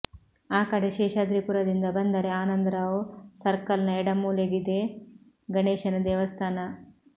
ಆ ಕಡೆ ಶೇಷಾದ್ರಿಪುರದಿಂದ ಬಂದರೆ ಆನಂದರಾವ್ ಸರ್ಕಲ್ನ ಎಡಮೂಲೆಗಿದೆ ಗಣೇಶನ ದೇವಸ್ಥಾನ